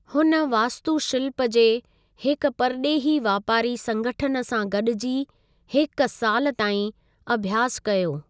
हुन वास्तुशिल्प जे हिकु परॾेही वापारी संगठन सां गॾिजी हिकु साल ताईं अभ्यासु कयो।